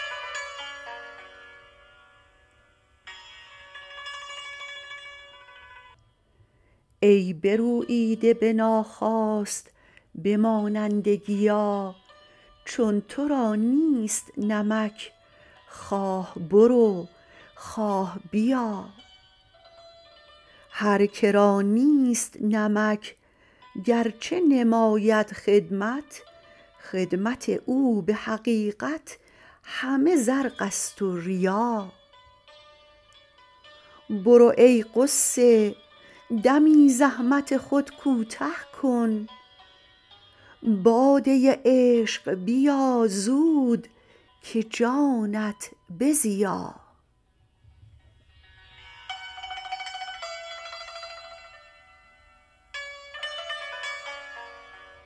ای بروییده به ناخواست به مانند گیا چون تو را نیست نمک خواه برو خواه بیا هر که را نیست نمک گرچه نماید خدمت خدمت او به حقیقت همه زرقست و ریا برو ای غصه دمی زحمت خود کوته کن باده عشق بیا زود که جانت بزیا